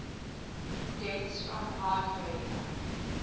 deaths from heart failure